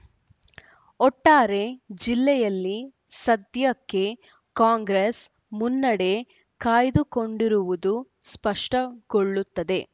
ಒಟ್ಟಾರೆ ಜಿಲ್ಲೆಯಲ್ಲಿ ಸದ್ಯಕ್ಕೆ ಕಾಂಗ್ರೆಸ್‌ ಮುನ್ನಡೆ ಕಾಯ್ದುಕೊಂಡಿರುವುದು ಸ್ಪಷ್ಟಗೊಳ್ಳುತ್ತದೆ